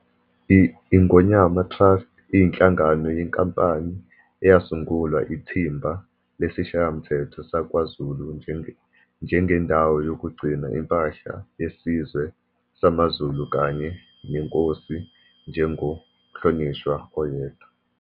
I-Ingonyama Trust iyinhlangano yenkampani eyasungulwa iThimba lesiShayamthetho sakwaZulu njengendawo yokugcina impahla yesizwe samaZulu kanye neNkosi njengoMhlonishwa oyedwa.